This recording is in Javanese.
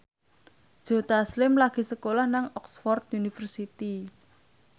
Joe Taslim lagi sekolah nang Oxford university